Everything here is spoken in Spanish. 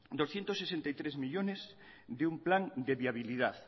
doscientos sesenta y tres millónes de un plan de viabilidad